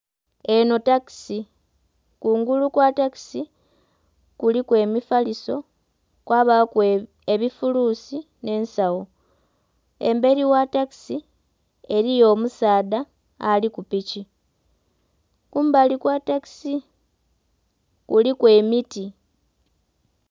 Enho takisi, kungulu kwa takisi kuliku emifaliso, kwabaaku ebifuluusi nh'ensawo. Emberi gha takisi eliyo omusaadha ali ku piki. Kumbali kwa takisi, kuliku emiti.